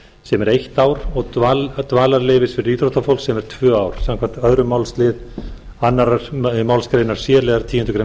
sem er eitt ár og dvalarleyfis fyrir íþróttafólk sem er tvö ár samkvæmt öðrum málsl annarrar málsgreinar c liðar tíundu greinar